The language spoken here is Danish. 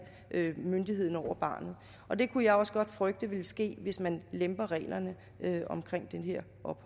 myndigheden over barnet det kunne jeg også godt frygte ville ske hvis man lemper reglerne